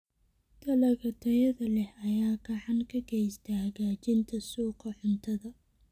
Dalagga tayada leh ayaa gacan ka geysta hagaajinta suuqa cuntada.